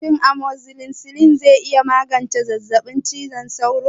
Shin amozzisilin zai iya magance zazzabin cizon sauro?